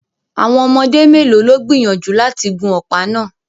Àwọn ọmọdé mélòó ló gbìyànjú láti gun ọ̀pá náà